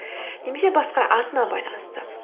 немесе басқа атына байланысты